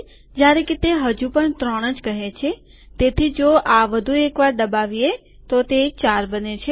જયારે કે તે હજુપણ ત્રણજ કહે છે તેથી જો આ વધુ એક વાર દબાવીએ તો તે ૪ બને છે